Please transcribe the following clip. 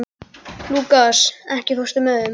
Lúkas, ekki fórstu með þeim?